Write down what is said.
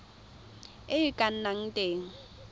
e e ka nnang teng